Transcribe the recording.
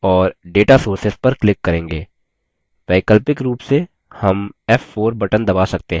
वैकल्पिक रूप से हम f4 बटन दबा सकते हैं